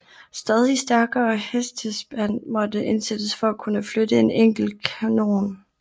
Stadig stærkere hestespand måtte indsættes for at kunne flytte en enkelt kanon